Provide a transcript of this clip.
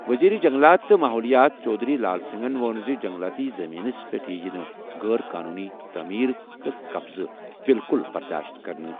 وزیر جنگلات تہٕ ماحولیات چودھری لال سنگھَن ووٚن زِ جنگلاتی زٔمیٖنَس پٮ۪ٹھ یِیہِ نہٕ غٲر قونوٗنی تعمیٖر تہٕ قبضہٕ بالکل برداش کرنہٕ۔